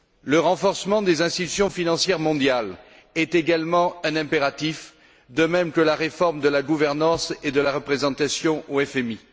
Le renforcement des institutions financières mondiales est également un impératif, de même que la réforme de la gouvernance et de la représentation au FMI.